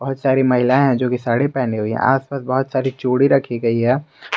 बहुत सारी महिला है जोकि साड़ी पहनी हुई है आसपास बहोत सारी चूड़ी रखी गई है।